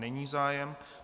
Není zájem.